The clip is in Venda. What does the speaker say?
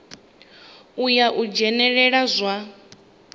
ya u dzhenelela kha zwa